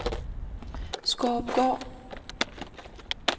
Skårupgård